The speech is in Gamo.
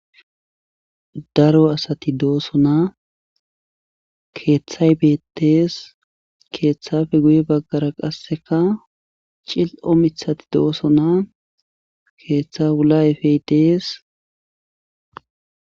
Daro asati doosona keethay beetees keethafe guye baggara qasseka cil7o mithati doosona keetha wula ayfey dees.